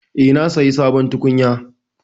Eh, na saya sabon tukunya.